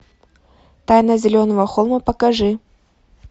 тайна зеленого холма покажи